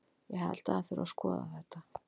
Ég held að það þurfi að skoða þetta.